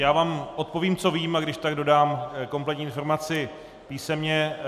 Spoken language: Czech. Já vám odpovím, co vím, a když tak dodám kompletní informaci písemně.